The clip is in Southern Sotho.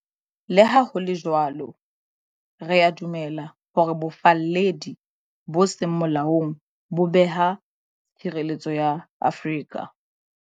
Le ha ho le jwalo, re a dumela hore bofalledi bo seng molaong bo beha tshireletso ya Afrika.